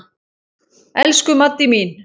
Elsku Maddý mín.